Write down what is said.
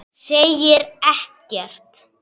Segir ekkert.